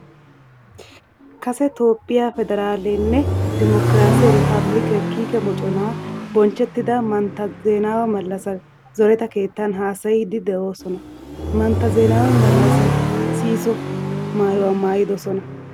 Kase Toophphiyaa federaalenne dimokiraase iripaabilike kiike moconaa bonchchettida mantta Zeenawa Malassi zoreta keettan haasayiiddi de"oosona. Mantta Zeenawa Malassi sihisso maayuwaa maayidosona.